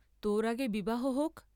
তোর আগে বিবাহ হোক ।